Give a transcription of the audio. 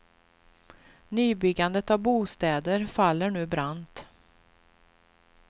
Nybyggandet av bostäder faller nu brant.